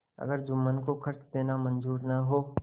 अगर जुम्मन को खर्च देना मंजूर न हो